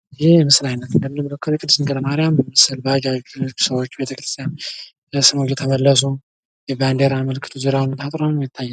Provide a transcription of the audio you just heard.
ይህ የምስል አይነት የሚያመለክተው የቅድስት ድንግል ማሪያም ሰዎች ቤተክርስቲያን ስመው እየተመለሱ ፤ እና አጥሩም ይታያል።